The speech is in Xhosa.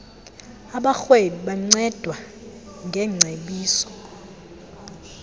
abarhweni bancedwa ngeengcebiso